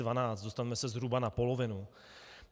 Dostaneme se zhruba na polovinu.